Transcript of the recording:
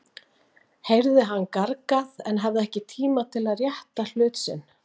heyrði hann gargað, en hafði ekki tíma til að rétta hlut sinn.